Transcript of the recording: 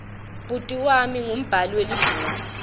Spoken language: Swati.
bhuti wami ungumbhali welibhuku